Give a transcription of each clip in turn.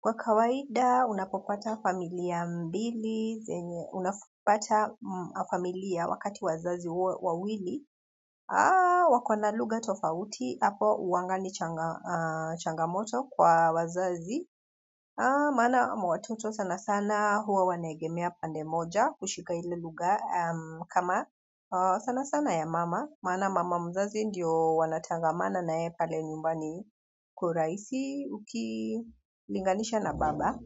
Kwa kawaida, unapopata familia mbili, zenye unapopata familia wakati wazazi wawili, wakona luga tofauti, hapo huwanga ni changamoto kwa wazazi, maana watoto sana sana huwa wanaegemea pande moja kushika ile luga kama sana sana ya mama, maana mama mzazi ndiyo wanatangamana na yeyr pale nyumbani kwa uraisi ukilinganisha na baba.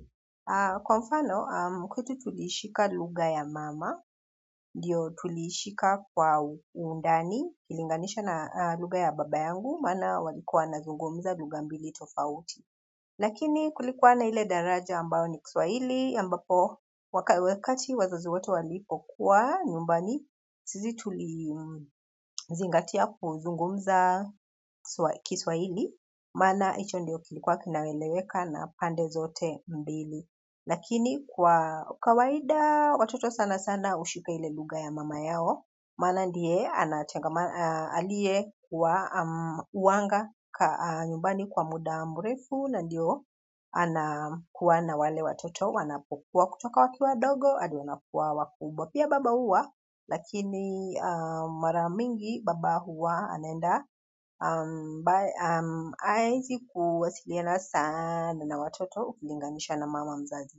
Kwa mfano, kwetu tulishika luga ya mama, ndiyo tuliishika kwa undani, ilinganisha na luga ya baba yangu, maana walikuwa wanazungumza luga mbili tofauti. Lakini kulikuwa na ile daraja ambao ni Kiswahili, ambapo wakati wazazi wote walipokuwa nyumbani, sisi tulizingatia kuzungumza Kiswahili, maana hicho ndio kilikuwa kinaeleweka na pande zote mbili. Lakini kwa kawaida watoto sana sana hushika ile luga ya mama yao, msana ndiye aliye kuwa huanga nyumbani kwa muda mrefu na ndio anakuwa na wale watoto wanapokuwa kutoka wakiwa wadogo, hadi wanapokuwa wakubwa. Pia baba huwa lakini mara mingi baba huwa anaenda haezi kuwasiliana sana na watoto ukilinganisha na mama mzazi.